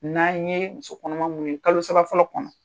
N'an ye muso kɔnɔma mun ye kalo saba fɔlɔ kɔnɔ.